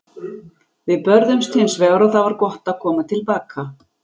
Við börðumst hins vegar og það var gott að koma til baka.